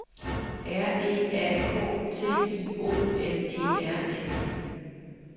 R E A K T I O N E R N E